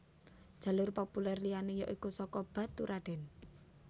Jalur populer liyané ya iku saka Baturradèn